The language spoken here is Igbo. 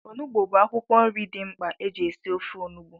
Onugbu bụ akwụkwọ nri dị mkpa eji esi ofe onugbu